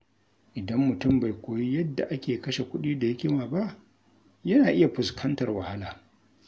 Idan mutum bai koyi yadda ake kashe kuɗi da hikima ba, yana iya fuskantar wahala.